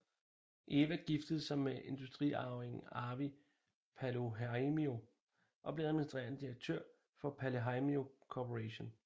Eva giftede sig med industriarvingen Arvi Paloheimo og blev administrerende direktør for Paloheimo Corporation